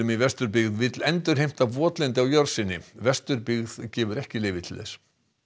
í Vesturbyggð vill endurheimta votlendi á jörð sinni Vesturbyggð gefur ekki leyfi til þess